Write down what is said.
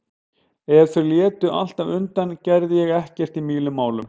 Ef þau létu alltaf undan gerði ég ekkert í mínum málum.